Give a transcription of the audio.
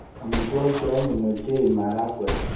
Amitwogik che anyiny ochei maragwek.